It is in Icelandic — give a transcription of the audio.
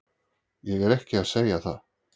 Ég er ekki að segja það.